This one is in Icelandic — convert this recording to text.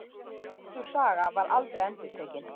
En sú saga var aldrei endurtekin.